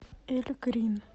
эльгрин